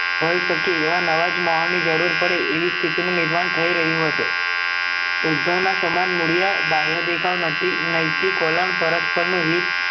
સખી એવાજ મહાની જરૂર પડે એવી સ્થિતિનું નિર્માણ થઇ રહ્યું હતું ઉદ્ભવના સમાન મૂળયા બાહ્ય દેખાવ નથી નેઈતિક ઓલન પરસ્પર નું હિત